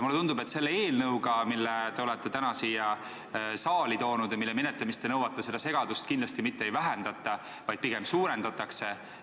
Mulle tundub, et selle eelnõuga, mille te olete täna siia saali toonud ja mille menetlemist te nõuate, te seda segadust kindlasti mitte ei vähenda, vaid pigem suurendate.